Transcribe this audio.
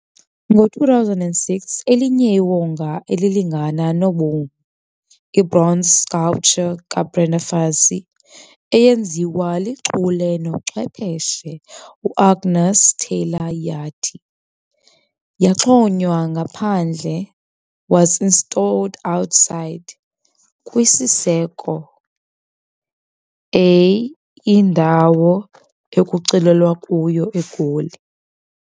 Ngo2006 elinye iwonga elilingana nobomi ibronze sculpture kaBrenda Fassie eyenziwa lichule nochwepheshe uAngus Taylor yathi yaxhonywa ngaphandle was installed outside kwisiseko, a indawo ekuculelwa kuyo eGoli.